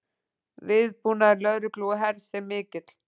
Viðbúnaður lögreglu og hers er mikill